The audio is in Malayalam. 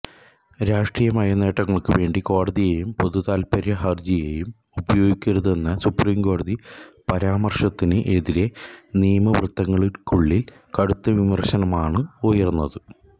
രാഷ്ട്രീയമായ നേട്ടങ്ങള്ക്കു വേണ്ടി കോടതിയെയും പൊതുതാത്പര്യ ഹര്ജിയെയും ഉപയോഗിക്കരുതെന്ന സുപ്രീംകോടതി പരാമര്ശത്തിന് എതിരെ നിയമവൃത്തത്തിനുള്ളില് കടുത്ത വിമര്ശനമാണ് ഉയര്ന്നത്